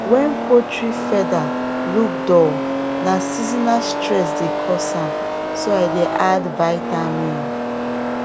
when poultry feather look dull na seasonal stress dey cause am so i dey add vitamin